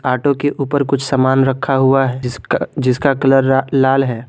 Auto के ऊपर कुछ सामान रखा हुआ है जिसका कलर लाल है।